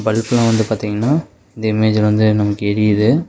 பல்புலா வந்து பாத்தீங்ன்னா இந்த இமேஜ்ல வந்து நமக்கு எரியுது.